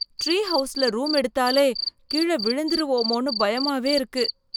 Tree ஹவுஸ்ல room எடுத்தாலே, கீழ விழந்திருவோமோன்னு பயமாவே இருக்கு.